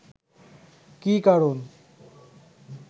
কী কারণ